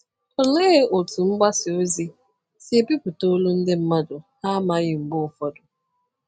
Olee otú mgbasa ozi si ebipụta olu ndị mmadụ ha amaghị mgbe ụfọdụ?